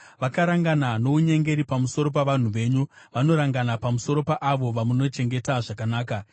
Vakarangana nounyengeri pamusoro pavanhu venyu; vanorangana pamusoro paavo vamunochengeta zvakanaka.